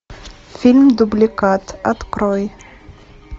фильм дубликат открой